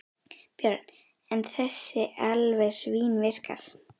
Björn: En þessi alveg svínvirkar?